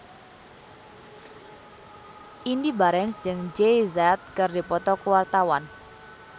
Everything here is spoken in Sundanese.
Indy Barens jeung Jay Z keur dipoto ku wartawan